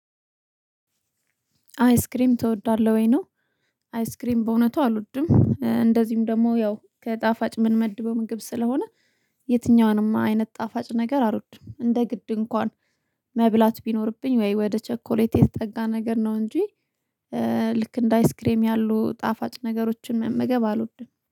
አይስክሬም ትወዳለህ ወይ ነው? አይስክሬም በእውነቱ አልወድም እንደዚሁም ደግሞ ያው ከጣፋጭ ምንመድበው ምግብ ስለሆነ። የትኛውንም አይነት ጣፋጭ ነገር አልወድም እንደ ግድ እንኳን መብላት ቢኖርብኝ ወይ ወደ ቸኮሌት የተጠጋ ነገር ነው እንጂ። ልክ እንደ አይስክሬም ያሉ ጣፋጭ ነገሮችን መመገብ አልወድም